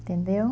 Entendeu?